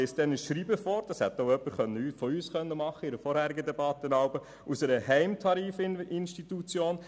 Schnegg liest ein Schreiben einer Heimtarifinstitution vor, was auch jemand von uns anlässlich einer vorangegangenen Debatte hätte tun können.